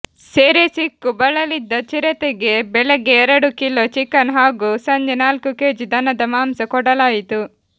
ಸೆರೆ ಸಿಕ್ಕು ಬಳಲಿದ್ದ ಚಿರತೆಗೆ ಬೆಳಗ್ಗೆ ಎರಡು ಕಿಲೋ ಚಿಕನ್ ಹಾಗೂ ಸಂಜೆ ನಾಲ್ಕು ಕೆಜಿ ದನದ ಮಾಂಸ ಕೊಡಲಾಯಿತು